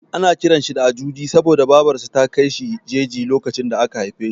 Ana kiran sa da Ajuji saboda Babar sa ta kai shi jeji lokacin da aka haife shi.